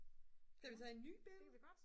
skal vi tage en ny billede